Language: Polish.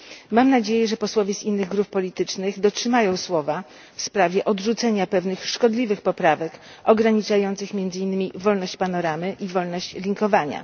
Mam nadzieję, że posłowie z innych grup politycznych dotrzymają słowa w sprawie odrzucenia pewnych szkodliwych poprawek ograniczających między innymi wolność panoramy i wolności linkowania.